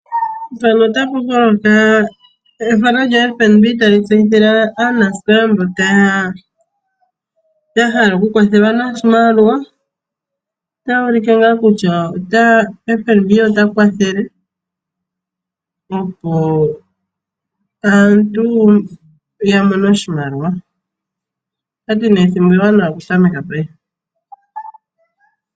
Mpano otapa holoka ethano lyo fnb tali tseyithile anasikola mboka ya hala oku kwathelwa noshimaliwa , otashi ulike kutya fnb ota wathele opo aantu yamone oshimaliwa ,otati ne ethimbo ewanawa oku tameka payife.